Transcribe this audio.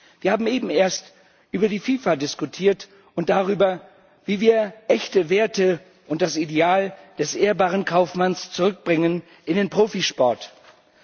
Wir haben eben erst über die FIFA diskutiert und darüber, wie wir echte Werte und das Ideal des ehrbaren Kaufmanns in den Profisport zurückbringen.